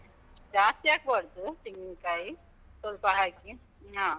ಜಾಸ್ತಿ ಹಾಕ್ಬಾರ್ದು, ತೆಂಗಿನ್ಕಾಯಿ, ಸ್ವಲ್ಪ ಹಾಕಿ ಹಾ.